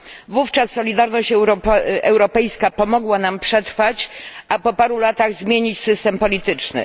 r. Wówczas solidarność europejska pomogła nam przetrwać, a po paru latach zmienić system polityczny.